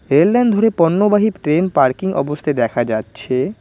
Rail line ধরে পণ্যবাহী train parking অবস্থায় দেখা যাচ্ছে।